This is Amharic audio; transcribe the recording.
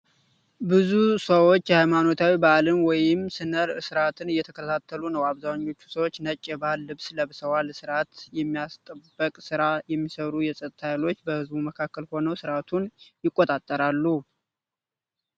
ብዙ ሰዎች የሃይማኖታዊ በዓልን ወይም ሥነ ሥርዓትን እየተከታተሉ ነው ። አብዛኞቹ ሰዎች ነጭ የባህል ልብስ ለብሰዋል። ሥርዓት የማስጠበቅ ሥራ የሚሰሩ የፀጥታ ኃይሎች በሕዝቡ መካከል ሆነው ሥርዓቱን ይቆጣጠራሉ።